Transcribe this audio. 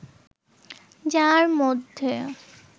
যার মধ্যে